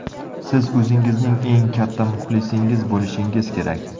Siz o‘zingizning eng katta muxlisingiz bo‘lishingiz kerak.